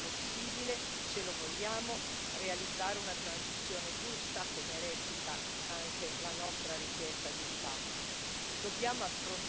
Io credo però che sia possibile, se lo vogliamo, realizzare una transizione giusta, come recita anche la nostra richiesta di discussione.